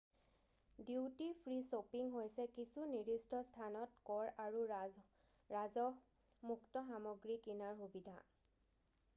duty free shopping হৈছে কিছু নিৰ্দিষ্ট স্থানত কৰ আৰু ৰাজহমুক্ত সামগ্ৰী কিনাৰ সুবিধা